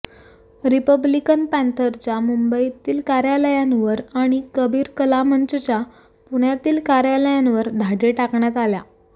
Republican पँथरच्या मुंबईतील कार्यालयांवर आणि कबीर कला मंचच्या पुण्यातील कार्यालयांवर धाडी घालण्यात आल्या